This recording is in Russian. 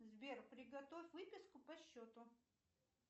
сбер приготовь выписку по счету